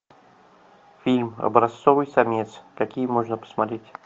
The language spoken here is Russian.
фильм образцовый самец какие можно посмотреть